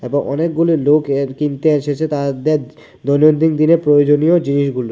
এবং অনেকগুলি লোক এর কিনতে এসেছে তাহাদের দৈনন্দিন দিনে প্রয়োজনীয় জিনিসগুলো।